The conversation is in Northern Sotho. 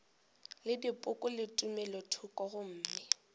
le dipoko le tumelothoko gomme